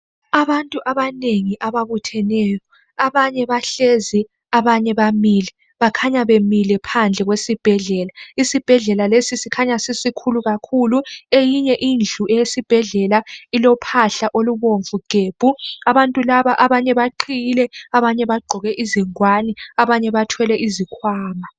Abantu abanengi ababutheneyo . Abanye bahlezi labamileyo phandle esibhedlela. Isibhedlela sikhanya sisikhulu kakhulu. Eyinye indlu yesibhedlela ilophahla olubomvu gebhu. Abantu laba kulabaqhiyileyo, abagqoke izingwane labathwele izikhwama.